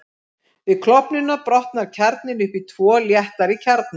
Við klofnunina brotnar kjarninn upp í tvo léttari kjarna.